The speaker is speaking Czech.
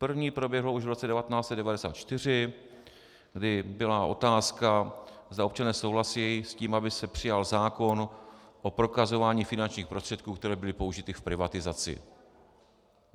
První proběhlo už v roce 1994, kdy byla otázka, zda občané souhlasí s tím, aby se přijal zákon o prokazování finančních prostředků, které byly použity v privatizaci.